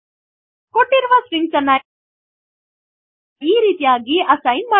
ಕೊಟ್ಟಿರುವ ಸ್ಟ್ರಿಂಗ್ ಅನ್ನು ಈ ರೀತಿಯಾಗಿ ಅಸ್ಸೈನ್ ಮಾಡಬಹುದು